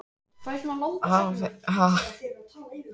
Hafi það gerst hverjar voru orsakir þess?